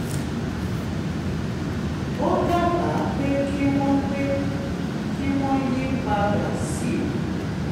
ó dábàá pé kí wọ́n pé kí wọ́n yí padà sí